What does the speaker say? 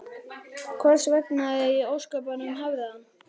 Hvers vegna í ósköpunum hefði hann?